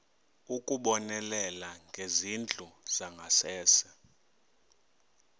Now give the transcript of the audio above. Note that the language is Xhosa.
ukubonelela ngezindlu zangasese